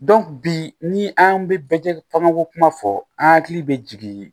bi ni an bɛ bɛɛ fagako kuma fɔ an hakili bɛ jigin